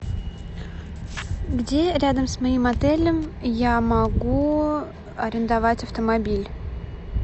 где рядом с моим отелем я могу арендовать автомобиль